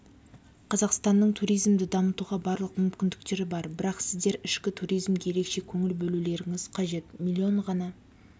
қазақстанның туризмді дамытуға барлық мүмкіндіктері бар бірақ сіздер ішкі туризмге ерекше көңіл бөлулеріңіз қажет млн ғана